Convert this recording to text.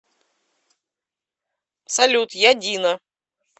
салют я дина